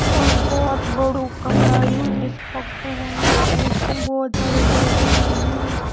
और बहोत बड़ु कमरा यू निस पक्कु होयुं एंच फुन बहोत ज्यादा लेट लगीं।